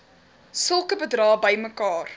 sulke bedrae bymekaar